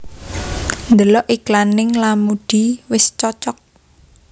Ndelok iklan ning Lamudi wis cocok